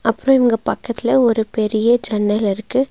அப்றோ இவங்க பக்கத்துல ஒரு பெரிய ஜன்னல் இருக்கு.